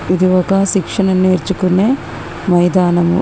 ఇది ఒక శిక్షణ నేర్చుకునే మైదానము.